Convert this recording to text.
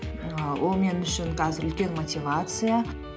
ііі ол мен үшін қазір үлкен мотивация